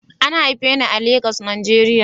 An haife ni a Legas, Najeriya